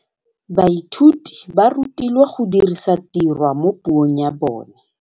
Baithuti ba rutilwe go dirisa tirwa mo puong ya bone.